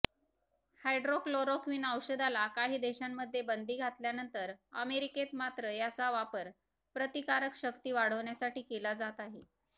hydroxychloroquine औषधाला काही देशांमध्ये बंदी घातल्यानंतर अमेरिकेत मात्र याचा वापर प्रतिकारशक्ती वाढवण्यासाठी केला जात आहे